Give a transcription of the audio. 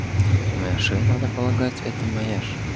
моя шея надо полагать это моя шея